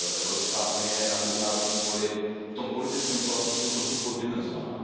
Evropská unie je na mezinárodním poli v tom politickém slova smyslu trochu poddimenzovaná.